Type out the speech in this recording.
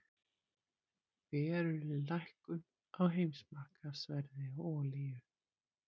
Veruleg lækkun á heimsmarkaðsverði á olíu